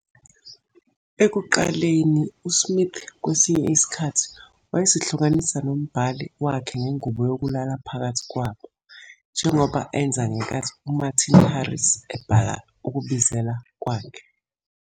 Ekuqaleni, uSmith kwesinye isikhathi wayezihlukanisa nombhali wakhe ngengubo yokulala phakathi kwabo, njengoba enza ngenkathi uMartin Harris ebhala ukubizela kwakhe.